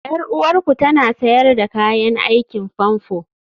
Yar uwarku tana sayar da kayan aikin famfo?